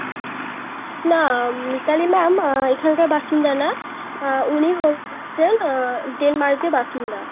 না মিতালি ma'am আহ এখানকার বাসিন্দা না উনি হচ্ছেন আহ Denmark এর বাসিন্দা.